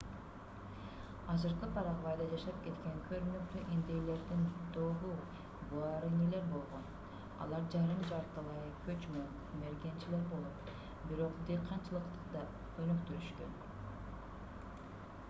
азыркы парагвайда жашап кеткен көрүнүктүү индейлердин тобу гуаранилер болгон алар жарым-жартылай көчмөн мергенчилер болуп бирок дыйканчылыкты да өнүктүрүшкөн